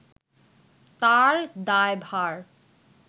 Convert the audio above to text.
তার দায়ভার